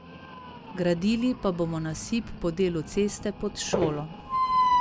Gradili pa bomo nasip po delu ceste pod šolo.